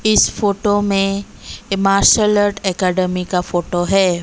इस फोटो में a martial art academy का फोटो है।